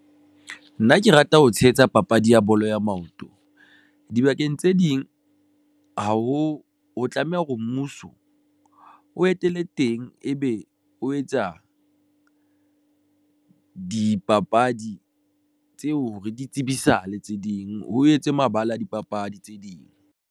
Nna ke rata ho tshehetsa papadi ya bolo ya maoto dibakeng tse ding ha ho o tlameha hore mmuso o etele teng, ebe o etsa dipapadi tseo re di tsebisale tse ding ho etswe mabala a dipapadi tse ding.